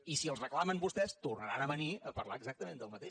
i si els reclamen vostès tornaran a venir a parlar exactament del mateix